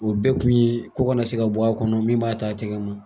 O bɛɛ kun ye ko kana na se ka bɔ a kɔnɔ min b'a ta tɛgɛ ma.